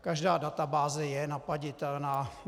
Každá databáze je napadnutelná.